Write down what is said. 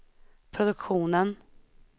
produktionen